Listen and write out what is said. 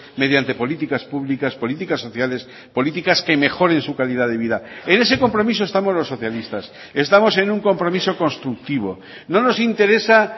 mediante políticas públicas políticas sociales políticas que mejoren su calidad de vida en ese compromiso estamos los socialistas estamos en un compromiso constructivo no nos interesa